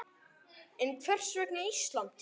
En hvers vegna Ísland?